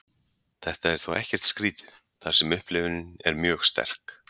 Þetta er þó ekkert skrítið þar sem upplifunin er mjög sterk.